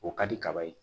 O ka di kaba ye